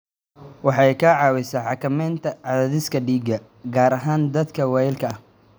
Waxay ka caawisaa xakamaynta cadaadiska dhiigga, gaar ahaan dadka waayeelka ah.